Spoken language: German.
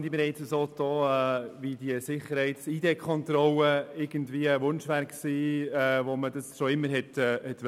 Wir tun so, als sei die IDKontrolle ein Wunsch, den wir schon lange gehegt hätten.